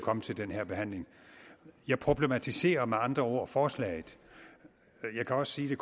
komme til den her behandling jeg problematiserer med andre ord forslaget jeg kan også sige det